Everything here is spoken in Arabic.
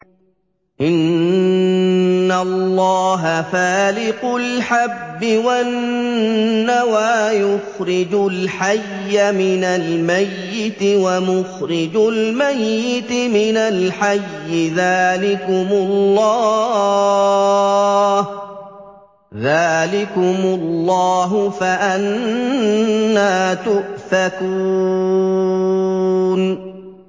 ۞ إِنَّ اللَّهَ فَالِقُ الْحَبِّ وَالنَّوَىٰ ۖ يُخْرِجُ الْحَيَّ مِنَ الْمَيِّتِ وَمُخْرِجُ الْمَيِّتِ مِنَ الْحَيِّ ۚ ذَٰلِكُمُ اللَّهُ ۖ فَأَنَّىٰ تُؤْفَكُونَ